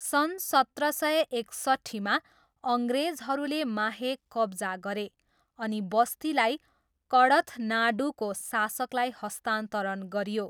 सन् सत्र सय एकसट्ठीमा, अङ्ग्रेजहरूले माहे कब्जा गरे, अनि बस्तीलाई कडथनाडूको शासकलाई हस्तान्तरण गरियो।